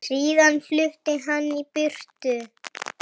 Síðan flutti hann í burtu.